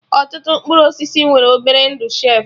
Ọtụtụ mkpụrụ osisi nwere obere ndụ shelfụ